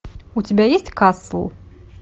у тебя есть касл